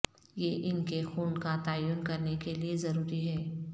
یہ ان کے خون کا تعین کرنے کے لئے ضروری ہے